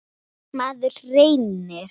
Maður reynir.